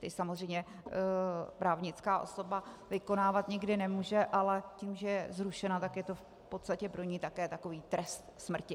Ty samozřejmě právnická osoba vykonávat nikdy nemůže, ale tím, že je zrušena, tak je to v podstatě pro ni také takový trest smrti.